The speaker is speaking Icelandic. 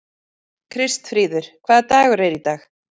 Kristfríður, hvaða dagur er í dag?